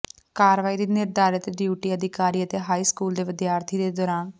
ਕਾਰਵਾਈ ਦੀ ਨਿਰਧਾਰਤ ਡਿਊਟੀ ਅਧਿਕਾਰੀ ਅਤੇ ਹਾਈ ਸਕੂਲ ਦੇ ਵਿਦਿਆਰਥੀ ਦੇ ਦੌਰਾਨ